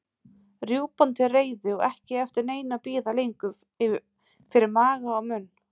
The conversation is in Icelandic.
Rjúpan til reiðu og ekki eftir neinu að bíða lengur fyrir maga og munn.